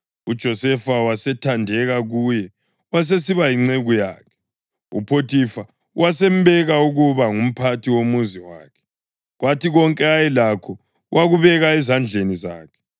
uJosefa wasethandeka kuye wasesiba yinceku yakhe. UPhothifa wasembeka ukuba ngumphathi womuzi wakhe, kwathi konke ayelakho wakubeka ezandleni zakhe.